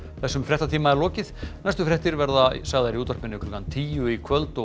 þessum fréttatíma er lokið næstu fréttir verða sagðar í útvarpi klukkan tíu í kvöld og